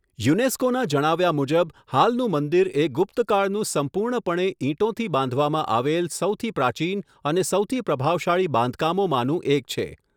યુનેસ્કોનાં જણાવ્યા મુજબ, 'હાલનું મંદિર એ ગુપ્ત કાળનું સંપૂર્ણપણે ઈંટોથી બાંધવામાં આવેલ સૌથી પ્રાચીન અને સૌથી પ્રભાવશાળી બાંધકામોમાંનું એક છે'.